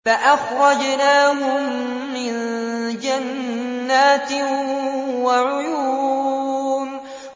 فَأَخْرَجْنَاهُم مِّن جَنَّاتٍ وَعُيُونٍ